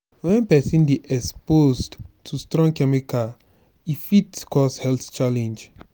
when person dey exposed to strong chemical e fit cause health challenge